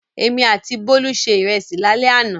Èmi àti Bólú se ìrẹsì lálẹ́ àná.